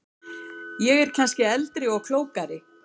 Ég er kannski eldri og klókari.